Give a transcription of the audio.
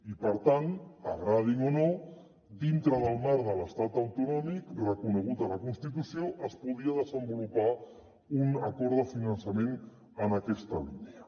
i per tant agradin o no dintre del marc de l’estat autonòmic reconegut a la constitució es podia desen·volupar un acord de finançament en aquesta línia